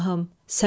Səlma.